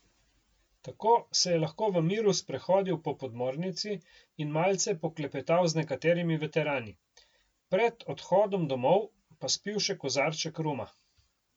Tako se je lahko v miru sprehodil po podmornici in malce poklepetal z nekaterimi veterani, pred odhodom domov pa spil še kozarček ruma.